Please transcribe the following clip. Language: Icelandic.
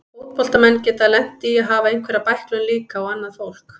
Fótboltamenn geta lent í að hafa einhverja bæklun líka og annað fólk.